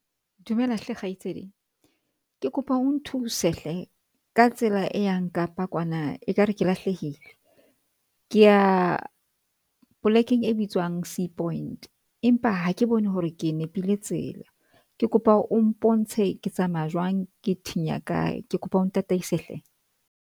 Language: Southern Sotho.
Dumela hle kgaitsedi.Ke kopa o nthuse hle ka tsela e yang Kapa kwana e kare ke lahlehile ke ya polekeng e bitswang Seapoint empa hake bone hore ke nepile tsela, ke kopa o mpontshe ke tsamaya jwang, ke thinya kae ke kopa o ntataise hle.